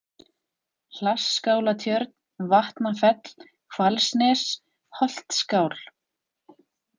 Hlassskálatjörn, Vatnafell, Hvalsnes, Holtsskál